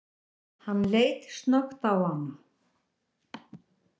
Hann leit snöggt á hana.